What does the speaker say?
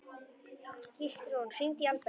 Gíslrún, hringdu í Alberg.